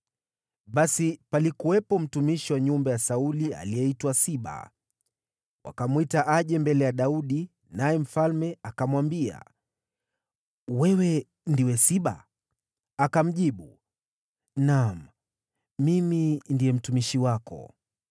Basi palikuwepo mtumishi wa nyumba ya Sauli aliyeitwa Siba. Wakamwita aje mbele ya Daudi, naye mfalme akamwambia, “Wewe ndiwe Siba?” Akamjibu, “Naam, mimi ndiye mtumishi wako.”